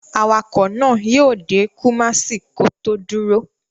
Awakọ̀ náà yíó dé Kumasi kó tó dúró